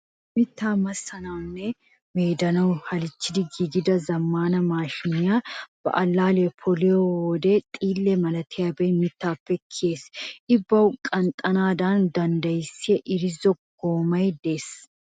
Mittaa massanawu nne meedanawu halchchetti giigida zammaana maashiinee ba allaalliya poliyode xiille malatiyabay mittaappe kiyes. I bawu qaaxxanaadan danddayissiya irzzo goomay de'es